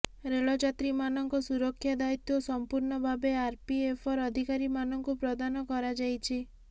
ରେଳଯାତ୍ରୀମାନଙ୍କ ସୁରକ୍ଷା ଦାୟିତ୍ବ ସଂପୂର୍ଣ୍ଣ ଭାବେ ଆରପିଏଫର ଅଧିକାରୀମାନଙ୍କୁ ପ୍ରଦାନ କରାଯାଇଛି